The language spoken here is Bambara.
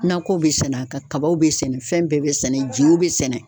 Nakɔw be sɛnɛ a kan kabaw be sɛnɛ fɛn bɛɛ be sɛnɛ jew be sɛnɛ